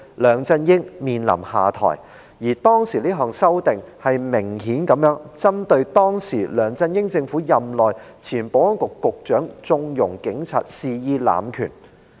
梁振英面臨下台，當時的修正案明顯是針對當時梁振英政府內的前保安局局長縱容警察肆意濫權。